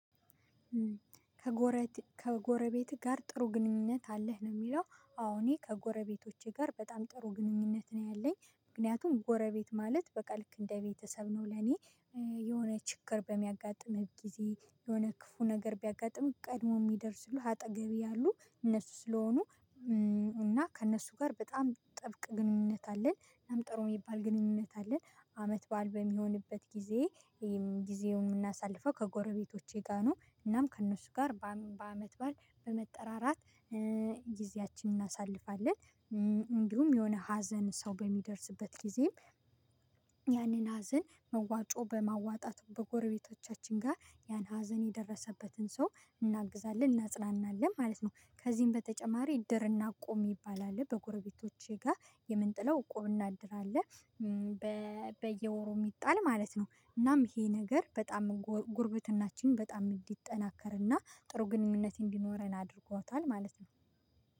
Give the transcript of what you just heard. ከጎረቤት ጋር ጥሩ ግንኙነት አለህ ነው? የሚለው አሁን እኔ ከጎረቤቶቼ ጋር በጣም ጥሩ ግንኙነት ነው ያለኝ ምክንያቱም ጎረቤት ማለት በቃ ልክ እንደ ቤተሰብ ነው ለኔ። የሆነ ችግር በሚያጋጥምህ ጊዜ የሆነ ክፉ ነገር ቢያጋጥምህ ቀድሞ የሚደርስልህ አጠገብ ያሉ እነሱ ስለሆኑ። እና ከእነሱ ጋር በጣም ጥብቅ ግንኙነት አለን ለምን ጥሩ የሚባል ግንኙነት አለን። አመት በዓል በሚሆንበት ጊዜ ጊዜውን የምናሳልፈው ከጎረቤቶቼ ጋር ነው። እናም ከእነሱ ጋር በአመት በመጠራራት ጊዜያችንን እናሳልፋለን። እንዲሁም የሆነ ሀዘን ሰው በሚደርስበት ጊዜም። ያንን ሀዘን መዋጮ በማዋጣት በጎረቤቶቻችን ጋር ያን ሀዘን የደረሰበትን ሰው እናግዛለን እናጽናናለን ማለት ነው። ከዚህም በተጨማሪ እድርና እቁብ ይባላል በጎረቤቶቼ ጋር የምንጥለው እቁብ እድር አለ። በየወሩ የሚጣል ማለት ነው። እናም ይሄ ነገር በጣም ጉርብትናችን በጣም እንዲጠናከርና ጥሩ ግንኙነት እንዲኖረን አድርጓታል ማለት ነው።